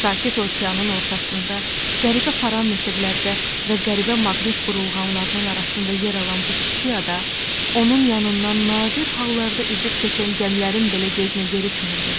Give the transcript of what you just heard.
Sakit Okeanın ortasında qəribə parametrlərdə və qəribə maqnit burulğanlarının arasında yer alan bu kiçik ada onun yanından nadir hallarda üzüb keçən gəmilərin belə gözünə görükmürdü.